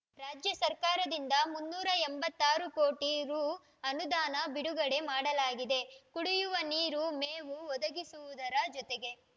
ರಾಜ್ಯ ಸರ್ಕಾರದಿಂದ ಮುನ್ನೂರ ಎಂಬತ್ತಾರು ಕೋಟಿ ರೂ ಅನುದಾನ ಬಿಡುಗಡೆ ಮಾಡಲಾಗಿದೆ ಕುಡಿಯುವ ನೀರು ಮೇವು ಒದಗಿಸುವುದರ ಜೊತೆಗೆ